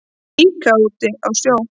Líka út í sjó.